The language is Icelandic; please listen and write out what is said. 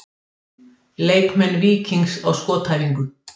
Leikmenn Víkings á skotæfingu.